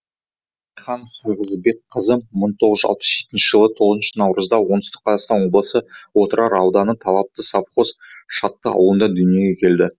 райхан сахыбекқызы мың тоғыз жүз алпыс жетінші жылы тоғызыншы наурызда оңтүстік қазақстан облысы отырар ауданы талапты совхозы шытты ауылында дүниеге келді